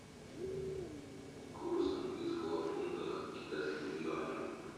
курс английского фунта к китайскому юаню